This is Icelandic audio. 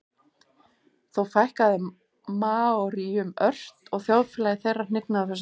þó fækkaði maóríum ört og þjóðfélagi þeirra hnignaði á þessum tíma